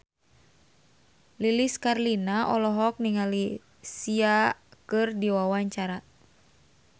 Lilis Karlina olohok ningali Sia keur diwawancara